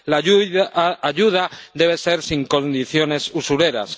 La ayuda debe ser sin condiciones usureras.